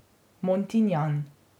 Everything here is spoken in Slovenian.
Montinjan.